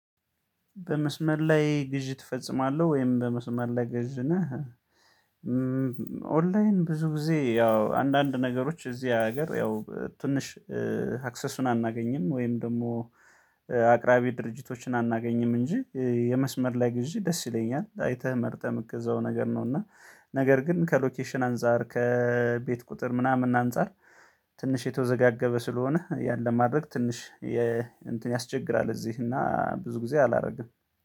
በመስመር ላይ ግዢ ትፈጽማለህ ወይም በመስመር ላይ ገዢ ነህ? እምም ኦንላይን ብዙ ጊዜ ያው አንዳንድ ነገሮች እዚህ ሀገር ያው ትንሽ እእ አክሰሱን አናገኝም ወይም ደግሞ እእ አቅራቢ ድርጅቶችን አናገኝም እንጂ እእ የመስመር ላይ ግዢ ደስ ይለኛል አይተህ መርጠህ የምትገዛው ነገር ነው። እና ነገር ግን ከሎኬሽን አንፃር ከእእ ቤት ቁጥር ምናምን አንፃር ትንሽ የተወዘጋገበ ስለሆነ ያን ለማድረግ ትንሽ የ እንትን ያስቸግራል። እዚህ እና ብዙ ጊዜ አላረግም።